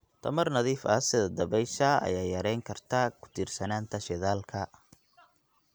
Tamar nadiif ah sida dabaysha ayaa yarayn karta ku tiirsanaanta shidaalka.